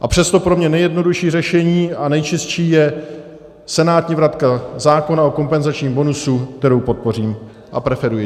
A přesto pro mě nejjednodušší řešení a nejčistší je senátní vratka zákona o kompenzačním bonusu, kterou podpořím a preferuji.